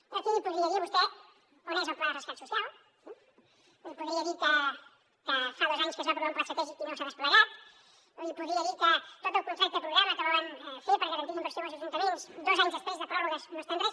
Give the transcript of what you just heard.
jo aquí podria dir li a vostè on és el pla de rescat social li podria dir que fa dos anys que es va aprovar un pla estratègic i no s’ha desplegat li podria dir que tot el contracte programa que volen fer per garantir inversió als ajuntaments dos anys després de pròrrogues no està en res